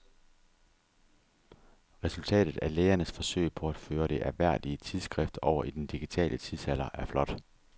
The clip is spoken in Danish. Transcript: Resultatet af lægernes forsøg på at føre det ærværdige tidsskrift over i den digitale tidsalder er flot.